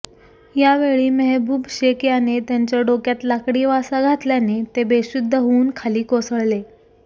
यावेळी महेबूब शेख याने त्यांच्या डोक्यात लाकडी वासा घातल्याने ते बेशुद्ध होऊन खाली कोसळले